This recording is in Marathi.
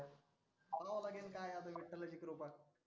आवरावा लागेल आता विठ्ठलाची कृपा.